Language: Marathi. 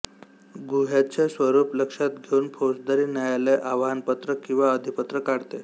गुन्ह्याचे स्वरूप लक्षात घेऊन फौजदारी न्यायालय आवाहनपत्र किंवा अधिपत्र काढते